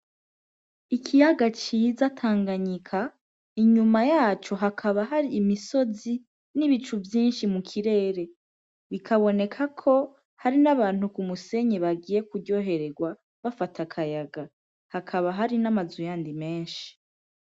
Ikiyaga ciza Tanganyika, inyuma yaco hakaba hari imisozi n'ibicu vyinshi mu kirere, bikaboneka ko hari n'abantu ku musenyi bagiye kuryoherwa bafata akayaga, hakaba hari n'amazu yandi menshi.